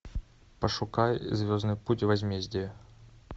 пошукай звездный путь возмездие